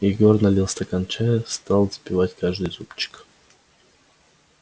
егор налил стакан чая стал запивать каждый зубчик